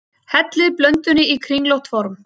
Hellið blöndunni í kringlótt form.